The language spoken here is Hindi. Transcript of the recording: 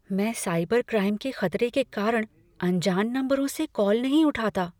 मैं साइबर क्राइम के खतरे के कारण अनजान नंबरों से कॉल नहीं उठाता।